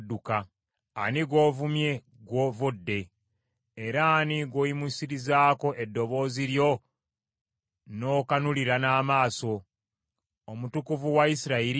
Ani gw’ovumye gw’ovodde? Era ani gw’oyimuyisirizzaako eddoboozi lyo n’okanulira n’amaaso? Omutukuvu wa Isirayiri!